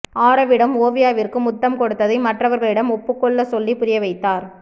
ஆரவ்விடம் ஓவியாவிற்கு முத்தம் கொடுத்ததை மற்றவர்களிடம் ஒப்புக்கொள்ளச்சொல்லி புரிய வைத்தார்